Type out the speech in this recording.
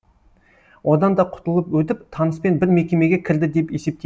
одан да құтылып өтіп таныспен бір мекемеге кірді деп есепте